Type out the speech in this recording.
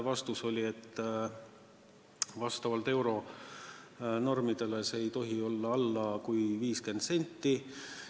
Vastus oli, et vastavalt euronormidele ei tohi see olla alla 50 sendi.